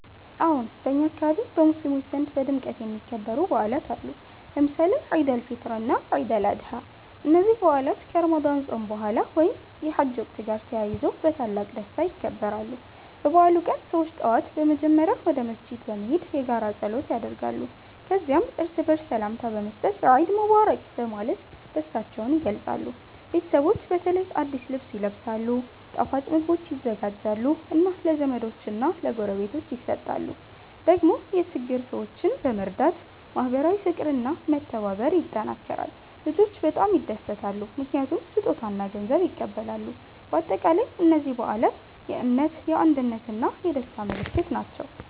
አዎን፣ በእኛ አካባቢ በሙስሊሞች ዘንድ በድምቀት የሚከበሩ በዓላት አሉ፣ ለምሳሌ ኢድ አል-ፊጥር እና ኢድ አል-አድሃ። እነዚህ በዓላት ከረመዳን ጾም በኋላ ወይም የሐጅ ወቅት ጋር ተያይዞ በታላቅ ደስታ ይከበራሉ። በበዓሉ ቀን ሰዎች ጠዋት በመጀመሪያ ወደ መስጊድ በመሄድ የጋራ ጸሎት ያደርጋሉ። ከዚያም እርስ በርስ ሰላምታ በመስጠት “ኢድ ሙባረክ” በማለት ደስታቸውን ይገልጻሉ። ቤተሰቦች በተለይ አዲስ ልብስ ይለብሳሉ፣ ጣፋጭ ምግቦች ይዘጋጃሉ እና ለዘመዶች እና ለጎረቤቶች ይሰጣሉ። ደግሞ የችግኝ ሰዎችን በመርዳት ማህበራዊ ፍቅር እና መተባበር ይጠናከራል። ልጆች በጣም ይደሰታሉ ምክንያቱም ስጦታ እና ገንዘብ ይቀበላሉ። በአጠቃላይ እነዚህ በዓላት የእምነት፣ የአንድነት እና የደስታ ምልክት ናቸው።